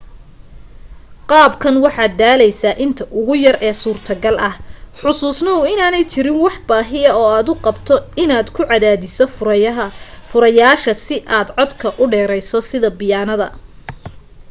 qaabkan waxaad daaleysaa inta ugu yare e suurtogal ah xasuusnoow inaanay jirin wax baahiya oo aad u qabto inaad ku cadaadiso furayaasha si aad codka u dheerayso sida biyaanada